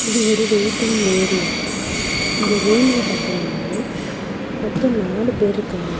இது ஒரு waiting area . இந்த ரூம்ல பாத்தீங்னா மொத்தொ நாலு பேர்ருக்காங்க.